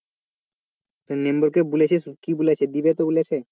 তুই member দের বলেছিস কি বলেছে দিবে তো বলেছে?